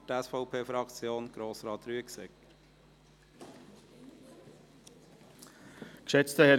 Für die SVP-Fraktion: Grossrat Rüegsegger.